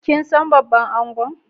Kin san babban angon?